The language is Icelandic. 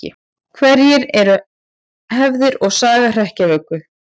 Hverjar eru hefðir og saga hrekkjavöku?